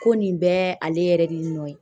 Ko nin bɛɛ ale yɛrɛ de nɔ ye